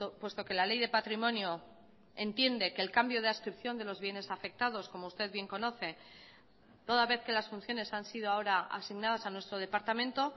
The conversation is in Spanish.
puesto que la ley de patrimonio entiende que el cambio de adscripción de los bienes afectados como usted bien conoce toda vez que las funciones han sido ahora asignadas a nuestro departamento